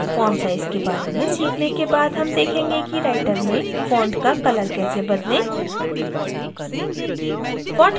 font size के बारे में सीखने के बाद हम देखेंगे कि writer में font का color कैसे बदलें